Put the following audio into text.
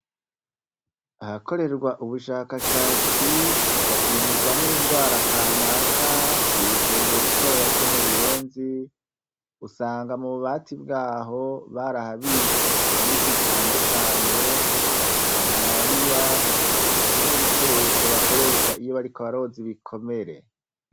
Ahakorerwa ubushakashatsi hagapimirwa n'indwara kanaka, k'wivuriro ritoya ryo mu Buyenzi, usanga mu bubati bwaho barahabitse imiti itandukanye : iya malariya, hamwe n'ibikoresho bakoresha iyo bariko baroza ibikomere.